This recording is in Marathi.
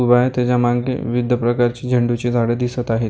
उभा आहे त्याच्या मागे विविध प्रकारची झेंडूची झाडं दिसत आहेत .